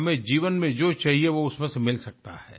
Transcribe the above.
हमें जीवन में जो चाहिए वो उसमे से मिल सकता है